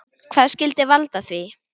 Hvað skyldi valda því?